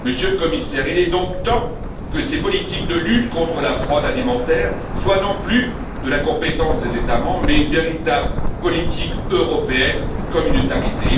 Monsieur le Commissaire, il est donc temps que ces politiques de lutte contre la fraude alimentaire soient, non plus de la compétence des États membres, mais une véritable politique européenne communautarisée.